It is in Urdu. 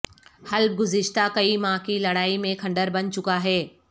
حلب گزشتہ کئی ماہ کی لڑائی میں کھنڈر بن چکا ہے